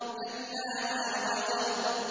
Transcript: كَلَّا لَا وَزَرَ